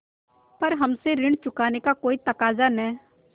पर हमसे ऋण चुकाने का कोई तकाजा न